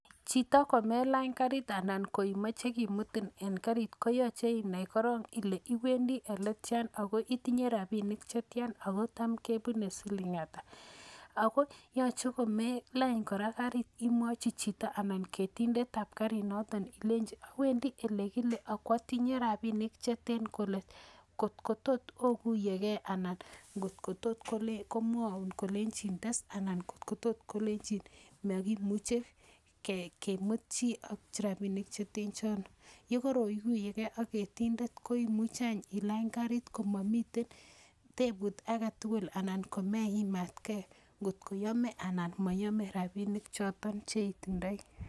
Chito komelany kariit anan ko imaache kimutin en karit ko yache inai koron ile iwendi ole tia ako itinye rapinik che tian ako cham kepune siling' ata. Ako yache ko ma ilany kora karit ,imwachi chito anan ketindet ap karinoton ilenchi " awendi ole kile ako atinye rapinik che ten kole" kot ko tot okuye ken anan ngot ko tot komwaun kolenchin tes anan ko tot kolenchin makimuche ki mut chi ak rapinik che ten chono. Ye koroguye ge ak ketindet ko imuchi any ilany kariit komamite tepuut age tugul anan ko meimatgei ngot ko yame anan ko mayame rapinik choton che itindai.